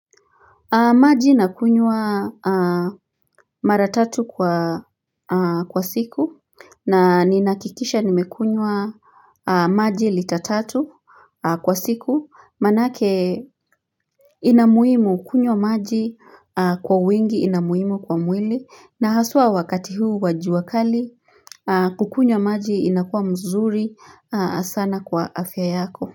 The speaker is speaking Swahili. Maji nakunywa mara tatu kwa siku na ninahakikisha nimekunywa maji litatatu kwa siku manake ina muhimu kunywa maji kwa wingi inamuhimu kwa mwili na haswa wakati huu wajua kali kukunywa maji inakuwa mzuri sana kwa afya yako.